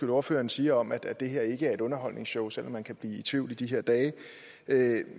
ordføreren siger om at det her ikke er et underholdningsshow selv om man kan i tvivl i de her dage